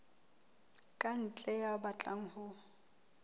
ka ntle ya batlang ho